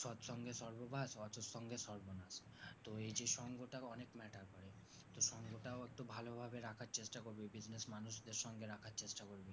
সৎ সঙ্গে স্বর্গবাস অসৎ সঙ্গে সর্বনাশ এই যে সঙ্গটা অনেক matter করে তো সঙ্গটাও একটু ভালোভাবে রাখার চেষ্টা করবি business মানুষদের সঙ্গে রাখার চেষ্টা করবি